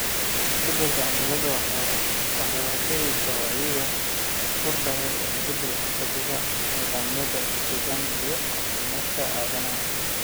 Isbeddelka cimiladu waxay horseedaysaa wacyiga kordhay ee isku xidhka nidaamyada deegaanka iyo caafimaadka aadanaha.